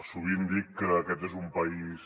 sovint dic que aquest és un país